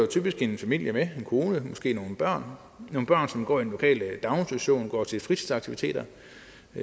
typisk en familie med en kone og måske nogle børn nogle børn som går i den lokale daginstitution som går til fritidsaktiviteter